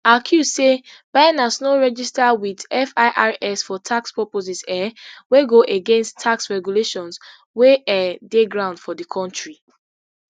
accuse say binance no register wit firs for tax purposes um wey go against tax regulations wey um dey ground for di kontri